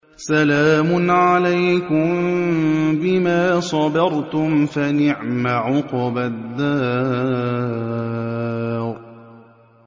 سَلَامٌ عَلَيْكُم بِمَا صَبَرْتُمْ ۚ فَنِعْمَ عُقْبَى الدَّارِ